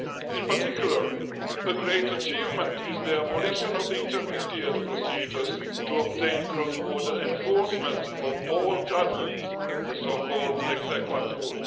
In particular, a great achievement is the abolition of the intermediate procedures to obtain cross border enforcement of all judgments the so called exequatur